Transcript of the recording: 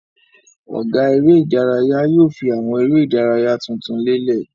Ọ̀gá eré-idárayá yóò fi àwọn eré-idárayá tuntun lélẹ̀.